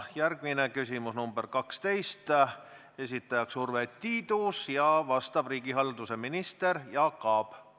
Järgmine küsimus, nr 12, esitab Urve Tiidus ja vastab riigihalduse minister Jaak Aab.